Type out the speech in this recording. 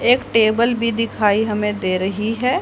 एक टेबल भी दिखाई हमे दे रही है।